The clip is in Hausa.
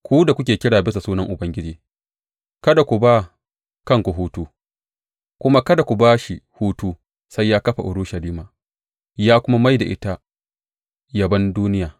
Ku da kuke kira bisa sunan Ubangiji, kada ku ba kanku hutu, kuma kada ku ba shi hutu sai ya kafa Urushalima ya kuma mai da ita yabon duniya.